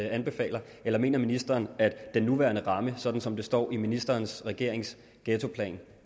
anbefaler eller mener ministeren at den nuværende ramme sådan som det står i ministerens regeringens ghettoplan